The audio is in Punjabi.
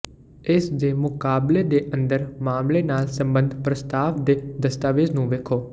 ਇਸ ਦੇ ਮੁਕਾਬਲੇ ਦੇ ਅੰਦਰ ਮਾਮਲੇ ਨਾਲ ਸਬੰਧਤ ਪ੍ਰਸਤਾਵ ਦੇ ਦਸਤਾਵੇਜ਼ ਨੂੰ ਵੇਖੋ